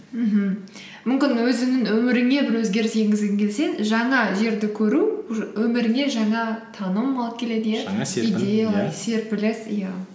мхм мүмкін өзіңнің өміріңе бір өзгеріс енгізгің келсе жаңа жерді көру өміріңе жаңа таным алып келеді иә серпіліс иә